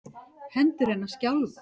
Hendur hennar skjálfa.